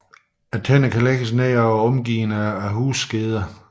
Tænderne kan lægges ned og er omgivet af hudskeder